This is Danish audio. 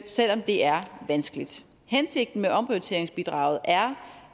selv om det er vanskeligt hensigten med omprioriteringsbidraget er